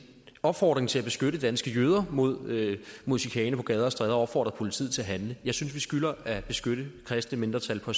opfordring til at beskytte danske jøder mod mod chikane på gader og stræder og opfordrer politiet til at handle jeg synes at vi skylder at beskytte kristne mindretal på